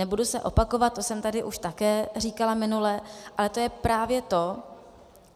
Nebudu se opakovat, to jsem tady už také říkala minule, ale to je právě to,